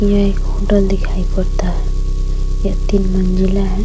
यह एक होटल दिखाई पड़ता है। यह तीन मंजिला है।